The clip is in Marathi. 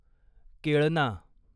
केळना